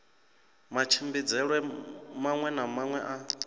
matshimbidzelwe maṅwe na maṅwe a